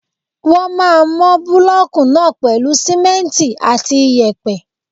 Wọ́n máà ń mọ búlọ̀kù náà pèlú simẹ́ntì àti iyẹ̀pẹ̀.